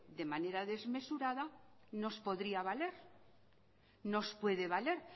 de manera desmesurada nos podría valer nos puede valer